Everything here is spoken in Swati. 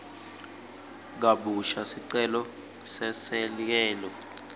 kabusha sicelo seselekelelo